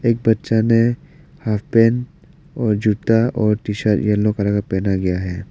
एक बच्चा ने हॉफ पैंट और जूता और टी शर्ट येल्लो कलर का पहना गया है।